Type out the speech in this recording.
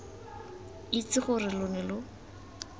itse gore lo ne lo